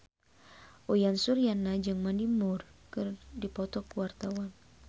Uyan Suryana jeung Mandy Moore keur dipoto ku wartawan